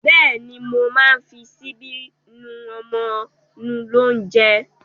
Bẹ́ẹ̀ ni, mo máa ń fi ṣíbí nú ọmọ nú lóúnjẹ.